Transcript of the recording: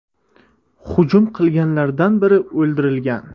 Hujum qilganlardan biri o‘ldirilgan.